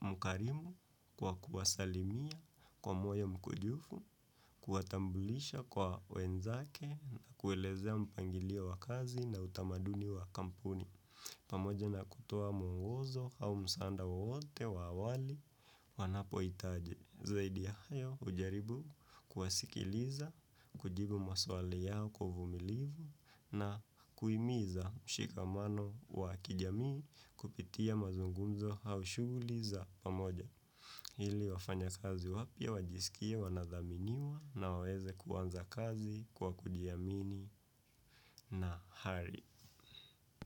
mkarimu, kwa kuwasalimia kwa moyo mkujufu, kuwatambulisha kwa wenzake na kuelezea mpangilio wa kazi na utamaduni wa kampuni. Pamoja na kutoa mwongozo hau msanda wote wa awali wanapo hitaje. Zaidi ya hayo hujaribu kuwasikiliza, kujibu maswali yao kwa uvumilivu na kuimiza mshikamano wa kijamii kupitia mazungunzo haushughuliza pamoja. Ili wafanya kazi wapya, wajisikie, wanadhaminiwa na waweze kuwanza kazi kwa kujiamini na hari.